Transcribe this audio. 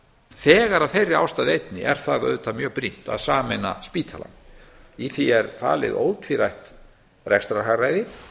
þegar að þeirra ástæðu einni er það auðvitað mjög brýnt að sameina spítalann í því er falið ótvírætt rekstrarhagræði